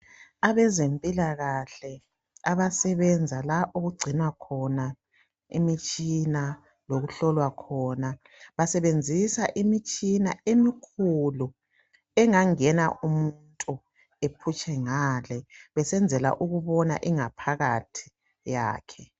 Abezempilakahle abasebenzala okugcinwakhona imitshina lokuhlolwa khona basebenzisa imitshina emikhulu engangena umuntu aphutshe ngale besenzela ukubona ingaphakathi yakhe.